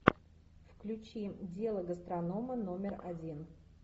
включи дело гастронома номер один